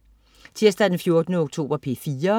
Tirsdag den 14. oktober - P4: